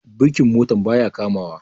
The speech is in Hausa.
birkin motar ba ya kamawa